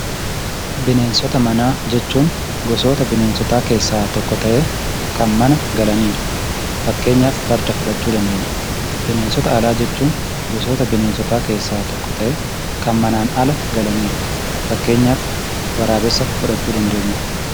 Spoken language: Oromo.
Bineensota manaa jechuun gosoota bineensotaa keessaa tokko ta'ee kan mana galaniidha. Fakkeenyaf farda fudhachuu dandeenya. Bineensota alaa jechuun gosoota bineensotaa keessaa tokko ta'ee kan manaan ala galaniidha. Fakkeenyaf waraabessa fudhachuu dandeenya.